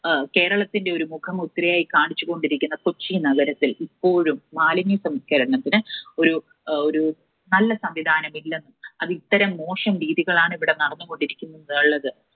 അഹ് കേരളത്തിലെ ഒരു മുഖമുദ്രയായി കാണിച്ചു കൊണ്ടിരിക്കുന്ന കൊച്ചി നഗരത്തിൽ ഇപ്പോഴും മാലിന്യസംസ്കരണത്തിന് ഒരു, ഏർ ഒരു നല്ല സംവിധാനം ഇല്ലെന്നതും ഇത്തരം മോശം രീതികൾ ആണ് ഇവിടെ നടന്നുകൊണ്ടിരിക്കുന്നത് എന്നുള്ളത്